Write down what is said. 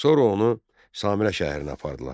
Sonra onu Samira şəhərinə apardılar.